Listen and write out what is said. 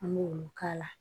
An b'olu k'a la